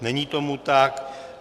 Není tomu tak.